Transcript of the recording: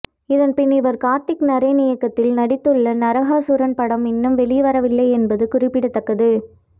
இதன்பின் இவர் கார்த்திக் நரேன் இயக்கத்தில் நடித்துள்ள நரகாசூரன் படம் இன்னும் வெளிவரவில்லை என்பது குறிப்பிடத்தக்கது